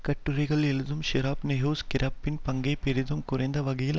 கட்டுரைகள் எழுதும் ஹிராப் நேஹவுஸ் கிராப்பின் பங்கை பெரிதும் குறைத்த வகையில்